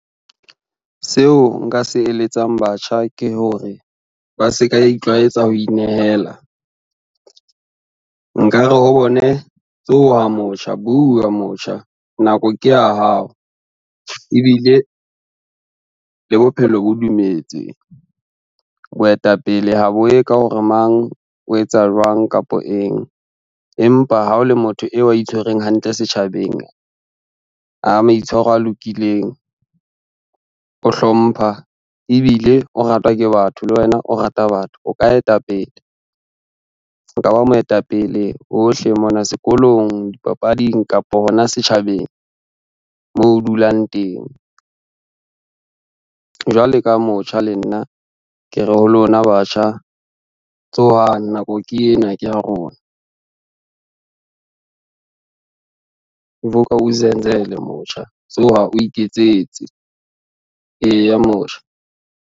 Seo nka se eletsang batjha ke hore ba se ka itlwaetsa ho inehela. Nkare ho bone tsoha motjha, bua motjha, nako ke ya hao ebile le bophelo bo dumetse. Boetapele ha bo ye ka hore mang o etsa jwang kapo eng, empa ha o le motho eo a itshwereng hantle setjhabeng a maitshwaro a lokileng, o hlompha ebile o ratwa ke batho, le wena o rata batho o ka etapele. O ka ba moetapele hohle mona sekolong, dipapading kapo hona setjhabeng moo o dulang teng. Jwale ka motjha le nna ke re, ho lona batjha tsohang nako ke ena ke ya rona. Vuka uzenzele motjha tsoha o iketsetse, eya motjha.